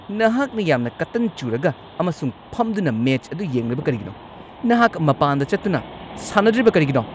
ꯅꯍꯥꯛꯅ ꯌꯥꯝꯅ ꯀꯇꯟ ꯆꯨꯔꯒ ꯑꯃꯁꯨꯡ ꯐꯝꯗꯨꯅ ꯃꯦꯆ ꯑꯗꯨ ꯌꯦꯡꯂꯤꯕ ꯀꯔꯤꯒꯤꯅꯣ? ꯅꯍꯥꯛ ꯃꯄꯥꯟꯗ ꯆꯠꯇꯨꯅ ꯁꯥꯟꯅꯗ꯭ꯔꯤꯕ ꯀꯔꯤꯒꯤꯅꯣ?